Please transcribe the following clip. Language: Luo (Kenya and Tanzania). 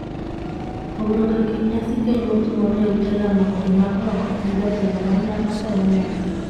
Pogruok e kind nyasi keny motimore e ute lamo kod mag oko en jatelo ma tayo nyasi.